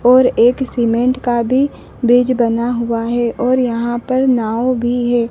और एक सीमेंट का भी ब्रिज बना हुआ है और यहां पर नाव भी है।